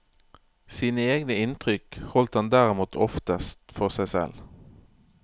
Sine egne inntrykk holdt han derimot oftest for seg selv.